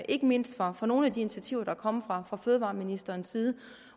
ikke mindst over for nogle af de initiativer der er kommet fra fødevareministerens side